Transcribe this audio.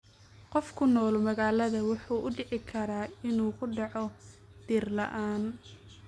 Qof ku nool magaalada wuxuu u dhici karaa inuu ku dhaco dhir la�aan.